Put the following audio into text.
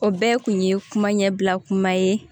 O bɛɛ kun ye kuma ɲɛbila kuma ye